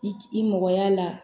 I i mɔgɔ y'a la